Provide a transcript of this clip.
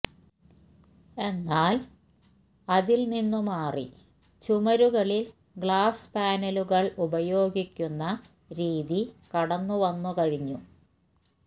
എന്നാല് അതില് നിന്നുമാറി ചുമരുകളിൽ ഗ്ലാസ് പാനലുകൾ ഉപയോഗിക്കുന്ന രീതി കടന്നു വന്നു കഴിഞ്ഞു